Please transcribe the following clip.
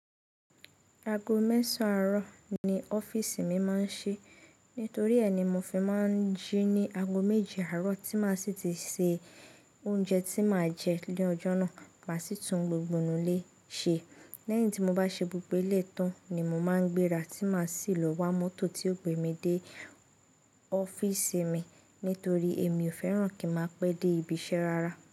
Ago mẹ́sàn àárọ̀ ni ọ́fíísì mi máa ń ṣí, nítorí ẹ ní mo fi máa ń jí ní ago méje àárọ̀ tí màá sì ti ṣe oúnjẹ tí màá jẹ ni ọ́jọ́ náà, màá sì tún gbogbo inù lè ṣe. Lẹ́yìn tí mo bá ṣe gbógbo eleyi tán ni mo máa ń gbéra tí màá sì lọ wá mọ́tò tí ó gbe mi dé ọ́fíísì mi nítorí èmi ò fẹ́ràn kí máa pẹ́ dé ibiṣẹ́ rara.